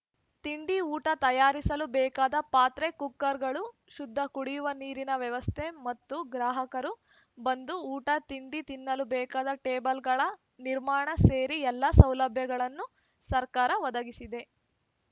ತಿಂಡಿಊಟ ತಯಾರಿಸಲು ಬೇಕಾದ ಪಾತ್ರೆ ಕುಕ್ಕರ್‌ಗಳು ಶುದ್ದ ಕುಡಿಯುವ ನೀರಿನ ವ್ಯವಸ್ಥೆ ಮತ್ತು ಗ್ರಾಹಕರು ಬಂದು ಊಟ ತಿಂಡಿ ತಿನ್ನಲು ಬೇಕಾದ ಟೇಬಲ್‌ಗಳ ನಿರ್ಮಾಣ ಸೇರಿ ಎಲ್ಲ ಸೌಲಭ್ಯಗಳನ್ನು ಸರ್ಕಾರ ಒದಗಿಸಿದೆ